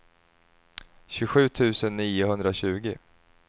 tjugosju tusen niohundratjugo